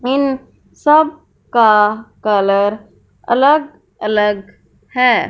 इन सब का कलर अलग अलग है।